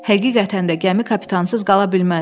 Həqiqətən də gəmi kapitansız qala bilməz.